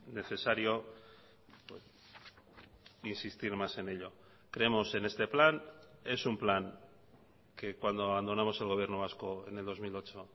necesario insistir más en ello creemos en este plan es un plan que cuando abandonamos el gobierno vasco en el dos mil ocho